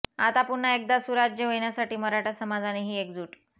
आता पुन्हा एकदा सुराज्य येण्यासाठी मराठा समाजाने ही एकजूट